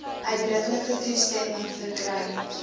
uitdruklike toestemming verkry